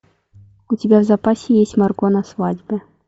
у тебя в запасе есть марго на свадьбе